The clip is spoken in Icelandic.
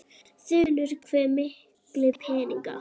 Þulur: Hve mikla peninga?